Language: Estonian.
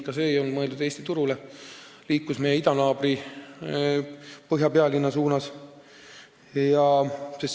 Ka see ei olnud mõeldud Eesti turule, vaid see liikus meie idanaabri põhjapealinna suunas.